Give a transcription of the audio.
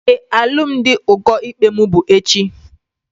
Éè, alụmdi ụkọ ikpe mụ bụ echi